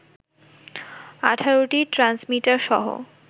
১৮টি ট্রান্সমিটার সহ